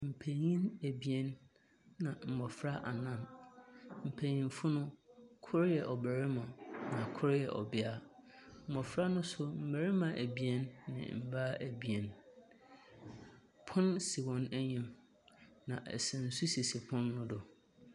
Mpanyinfo abien nna mmofra anan. Mpanyinfo no koro yɛ ɔbarima, na koro yɛ ɔbea. Mmofra no so mmarima abien ne mmaa abien. Pono si wɔn anim. Na nsu so sisi pono no do.